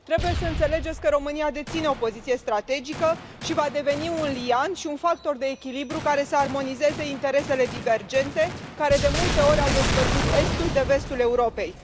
Trebuie să înțelegeți că România deține o poziție strategică și va deveni un liant și un factor de echilibru care să armonizeze interesele divergente care, de multe ori, au despărțit estul de vestul Europei.